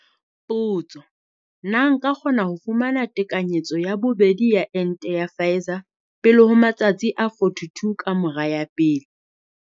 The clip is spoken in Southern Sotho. Potso- Na nka kgona ho fumana tekanyetso ya bobedi ya ente ya Pfizer pele ho matsatsi a 42 ka mora ya pele?